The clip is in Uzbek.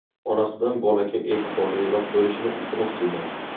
Onasidan bolaga e’tiborliroq bo‘lishini iltimos qilgan.